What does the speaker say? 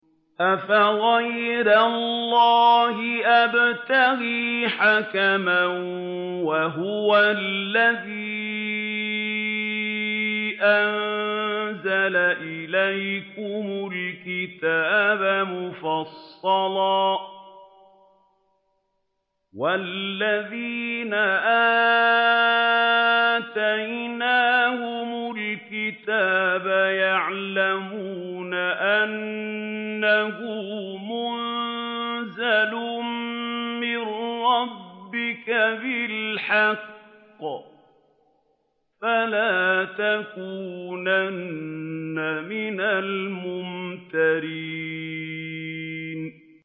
أَفَغَيْرَ اللَّهِ أَبْتَغِي حَكَمًا وَهُوَ الَّذِي أَنزَلَ إِلَيْكُمُ الْكِتَابَ مُفَصَّلًا ۚ وَالَّذِينَ آتَيْنَاهُمُ الْكِتَابَ يَعْلَمُونَ أَنَّهُ مُنَزَّلٌ مِّن رَّبِّكَ بِالْحَقِّ ۖ فَلَا تَكُونَنَّ مِنَ الْمُمْتَرِينَ